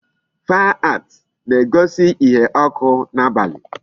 Fire ant na-egosi ihe ọkụ n'abalị.